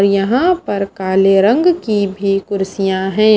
और यहां पर काले रंग की भी कुर्सियां हैं।